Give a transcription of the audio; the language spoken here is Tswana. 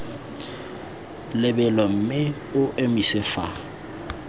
lebelo mme o emise fa